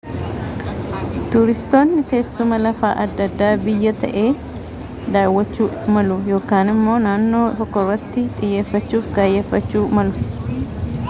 tuuristootni teessuma lafaa adda addaa biyya ta'ee daawwachuu malu ykn immoo naannooma tokkorratti xiyyeeffachuuf kaayyeffachuu malu